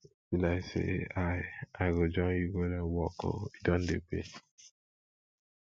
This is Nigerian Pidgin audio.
e be like say i i go join you go learn work oo e don dey pay